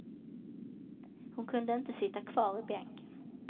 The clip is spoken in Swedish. Hon kunde inte sitta kvar i bänken.